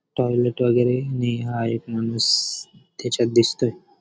Toilet वगैरे नी हा एक माणूस त्याच्यात दिसतोय.